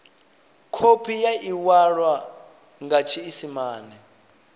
khophi ya iwalwa nga tshiisimane